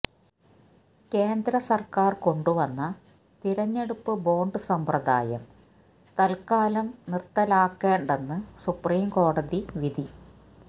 കേന്ദ്ര സർക്കാർ കൊണ്ട് വന്ന തിരഞ്ഞെടുപ്പ് ബോണ്ട് സമ്പ്രദായം തത്കാലം നിര്ത്തലാക്കേണ്ടെന്ന് സുപ്രീം കോടതി വിധി